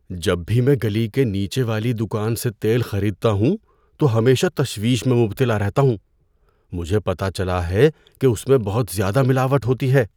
جب بھی میں گلی کے نیچے والی دکان سے تیل خریدتا ہوں تو ہمیشہ تشویش میں مبتلا رہتا ہوں۔ مجھے پتہ چلا ہے کہ اس میں بہت زیادہ ملاوٹ ہوتی ہے۔